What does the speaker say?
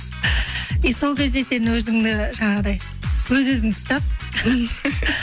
и сол кезде сен өзіңді жаңағындай өз өзіңді ұстап